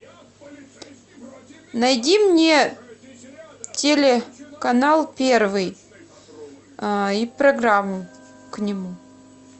найди мне телеканал первый и программу к нему